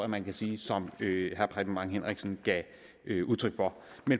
man kan sige som herre preben bang henriksen gav udtryk for